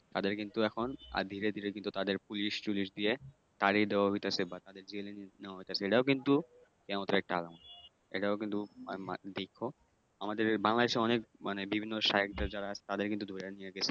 তাদের কিন্তু এখন কিন্তু তাদের পুলিশ-টুলিশ দিয়ে তাড়িয়ে দেওয়া হইতাছে বা তাদের জেলে নেওয়া হইতাছে। এটাও কিন্তু কেয়ামতের একটা আলামত। এটাও কিন্তু দেইখ আমাদের বাংলাদেশে অনেক মানে বিভিন্ন শায়েখদের যারা তাদের কিন্তু ধইরা নিয়া গেছে।